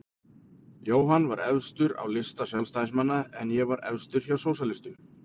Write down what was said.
Jóhann var efstur á lista Sjálfstæðismanna en ég var efstur hjá sósíalistum.